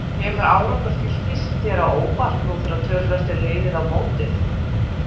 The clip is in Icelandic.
Kemur árangur Fylkis þér á óvart nú þegar töluvert er liðið á mótið?